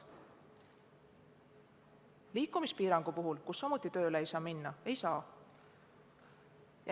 Liikumispiirangu puhul, kui samuti tööle ei saa minna, seda hüvitist ei maksta.